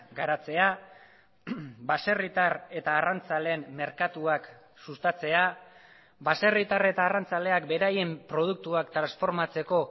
garatzea baserritar eta arrantzaleen merkatuak sustatzea baserritar eta arrantzaleak beraien produktuak transformatzeko